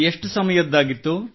ಎಷ್ಟು ಸಮಯದ್ದಾಗಿತ್ತು